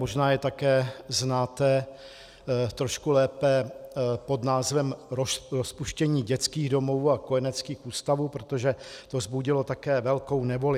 Možná to také znáte trošku lépe pod názvem "rozpuštění dětských domovů a kojeneckých ústavů", protože to vzbudilo také velkou nevoli.